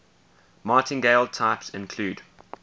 martingale types include